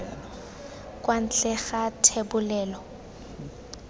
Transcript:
kwa ntle ga fa thebolelo